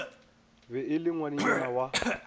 be e le ngwanenyana wa